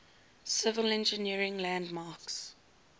civil engineering landmarks